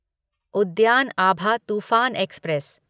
उद्यान अभा तूफान एक्सप्रेस